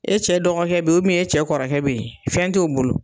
E cɛ dɔgɔkɛ be yen e cɛ kɔrɔkɛ be yen, fɛn t'o bolo.